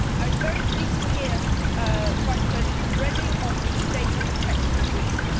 I was very pleased to hear Vice President Reding on the data protection agreement.